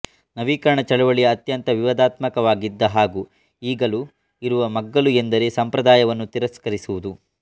ನವೀಕರಣ ಚಳವಳಿಯ ಅತ್ಯಂತ ವಿವಾದಾತ್ಮಕವಾಗಿದ್ದ ಹಾಗೂ ಇಗಲೂ ಇರುವ ಮಗ್ಗಲು ಎಂದರೆ ಸಂಪ್ರದಾಯವನ್ನು ತಿರಸ್ಕರಿಸಿರುವುದು